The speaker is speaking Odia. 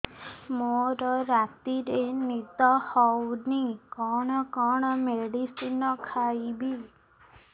ମୋର ରାତିରେ ନିଦ ହଉନି କଣ କଣ ମେଡିସିନ ଖାଇବି